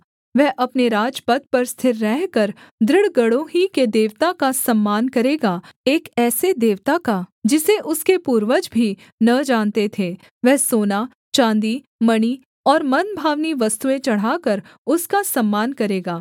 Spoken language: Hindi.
वह अपने राजपद पर स्थिर रहकर दृढ़ गढ़ों ही के देवता का सम्मान करेगा एक ऐसे देवता का जिसे उसके पूर्वज भी न जानते थे वह सोना चाँदी मणि और मनभावनी वस्तुएँ चढ़ाकर उसका सम्मान करेगा